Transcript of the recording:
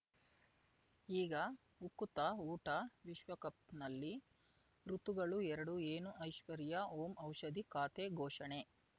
ಈಗ ಉಕುತ ಊಟ ವಿಶ್ವಕಪ್‌ನಲ್ಲಿ ಋತುಗಳು ಎರಡು ಏನು ಐಶ್ವರ್ಯಾ ಓಂ ಔಷಧಿ ಖಾತೆ ಘೋಷಣೆ